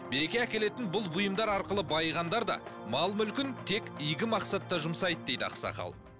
береке әкелетін бұл бұйымдар арқылы байығандар да мал мүлкін тек игі мақсатта жүмсайды дейді ақсақал